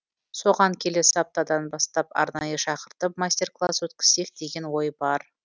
соған келесі аптадан бастап арнайы шақыртып мастер класс өткізсек деген ой бар